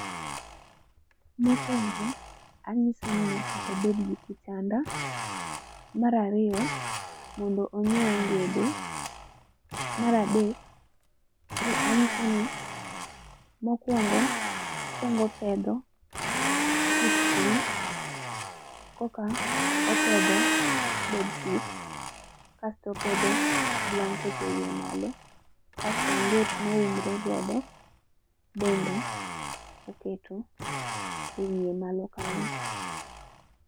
Mokuongo anyise ni nyaka obed gi kitanda. Mar ariyo, mondo onyiew ongede. Mar adek koro anyiseni mokuongo, okuongo opedho sit piny eka koro eka opedho bedsit kasto opedho blanket ewiye malo kaeto onget ma uumore godo bende oketo ewiye malo kanyo.